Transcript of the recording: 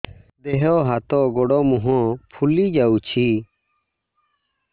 ଦେହ ହାତ ଗୋଡୋ ମୁହଁ ଫୁଲି ଯାଉଛି